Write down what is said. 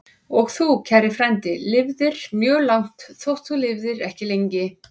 Og þú, kæri frændi, lifðir mjög langt, þótt þú lifðir ekki lengi.